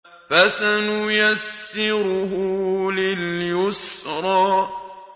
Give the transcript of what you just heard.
فَسَنُيَسِّرُهُ لِلْيُسْرَىٰ